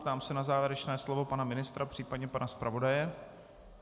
Ptám se na závěrečné slovo pana ministra, případně pana zpravodaje.